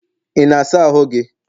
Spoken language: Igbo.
ị na-asa ahụ gị?